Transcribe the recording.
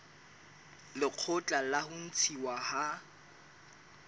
lekgotla la ho ntshuwa ha